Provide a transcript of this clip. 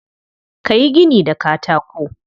Ka yi gini da katako.